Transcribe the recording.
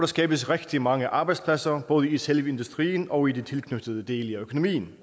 skabes rigtig mange arbejdspladser både i selve industrien og i de tilknyttede dele af økonomien